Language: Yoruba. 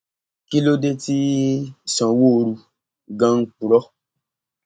kí ló dé tí sanwóoru ganan ń purọ